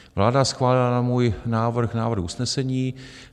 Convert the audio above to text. Vláda schválila na můj návrh návrh usnesení.